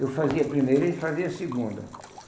Eu fazia a primeira e ele fazia a segunda.